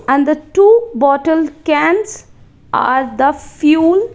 and the two bottle cans are the fuel.